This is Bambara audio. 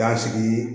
Y'an sigi